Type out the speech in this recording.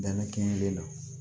Dannen kɛli la